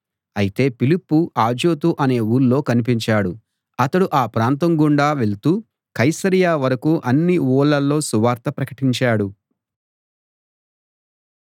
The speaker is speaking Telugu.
అయితే ఫిలిప్పు అజోతు అనే ఊళ్ళో కనిపించాడు అతడు ఆ ప్రాంతం గుండా వెళ్తూ కైసరయ వరకూ అన్ని ఊళ్లలో సువార్త ప్రకటించాడు